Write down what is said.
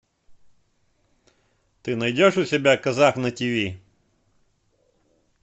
ты найдешь у себя казах на ти ви